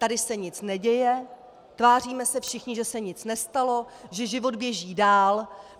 Tady se nic neděje, tváříme se všichni, že se nic nestalo, že život běží dál.